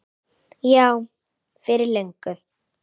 Já, fyrir löngu.